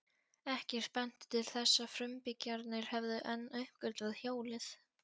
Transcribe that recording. Ekkert benti til þess að frumbyggjarnir hefðu enn uppgötvað hjólið.